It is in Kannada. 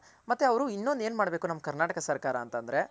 ಮತ್ತೆ ಅವ್ರ್ ಇನ್ನೊಂದ್ ಏನ್ ಮಾಡ್ಬೇಕು ನಮ್ ಕರ್ನಾಟಕ ಸರ್ಕಾರ ಅಂತ ಅಂದ್ರೆ.